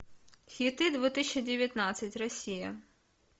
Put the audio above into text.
хиты две тысячи девятнадцать россия